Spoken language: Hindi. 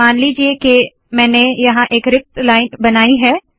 मान लीजिए के मैंने यहाँ एक रिक्त लाइन बनाई है